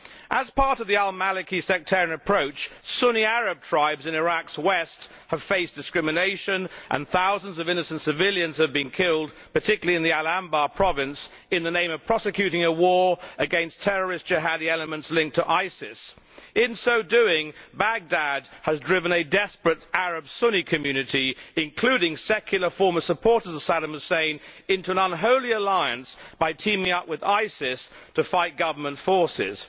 As part of the al Maliki sectarian approach, Sunni Arab tribes in Iraq's west have faced discrimination and thousands of innocent civilians have been killed, particularly in Anbar province, in the name of prosecuting a war against terrorist jihadi elements linked to ISIS. In so doing, Baghdad has driven a desperate Arab Sunni community, including secular former supporters of Saddam Hussein, into an unholy alliance by teaming up with ISIS to fight government forces.